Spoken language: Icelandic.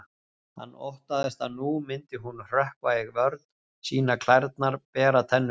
Hann óttaðist að nú myndi hún hrökkva í vörn, sýna klærnar, bera tennurnar.